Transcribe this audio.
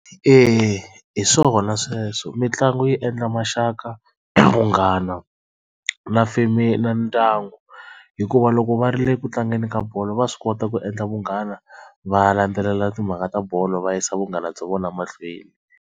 Eya hi swona sweswo mitlangu yi endla maxaka vunghana na family na ndyangu hikuva loko va ri le ku tlangeni ka bolo va swi kota ku endla vunghana va landzelela timhaka ta bolo va yisa vunghana bya vona mahlweni.